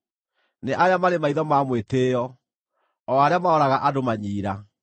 nĩ arĩa marĩ maitho ma mwĩtĩĩo, o arĩa maroraga andũ manyiira;